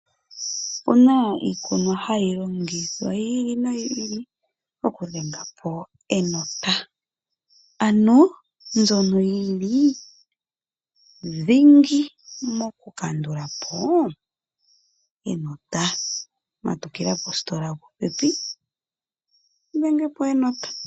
Okuna iikunwa hayi longithwa yi ili noyi ili oku dhengapo enota mbyono yili dhingi mokukandulapo enota . Matukila positola yo popepi udhengepo enota.